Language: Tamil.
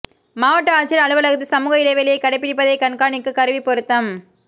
மாவட்ட ஆட்சியா் அலுவலகத்தில் சமூக இடைவெளியை கடைப்பிடிப்பதை கண்காணிக்க கருவி பொருத்தம்